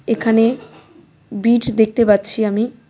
এখানে বীট দেখতে পাচ্ছি আমি .